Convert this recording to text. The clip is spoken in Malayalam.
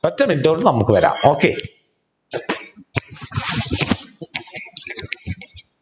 ഒറ്റ minute കൊണ്ട് നമുക്ക് വരാം okay